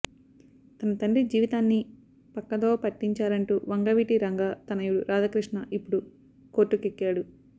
తన తండ్రి జీవితాన్ని పక్కదోవ పట్టించారంటూ వంగవీటి రంగా తనయుడు రాధాకృష్ణ ఇప్పుడు కోర్టుకెక్కాడు